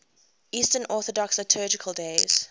eastern orthodox liturgical days